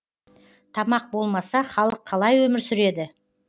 тамақ болмаса халық қалай өмір сүреді